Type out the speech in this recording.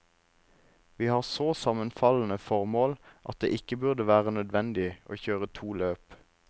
Vi har så sammenfallende formål at det ikke burde være nødvendig å kjøre to løp.